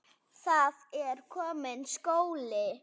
Það er kominn skóli.